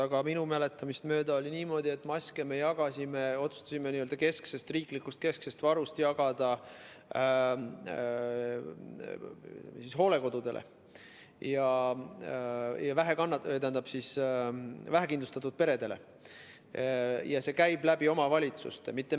Aga minu mäletamist mööda oli niimoodi, et maske me otsustasime n‑ö kesksest riiklikust varust jagada hooldekodudele ja vähekindlustatud peredele ning see käib omavalitsuste kaudu.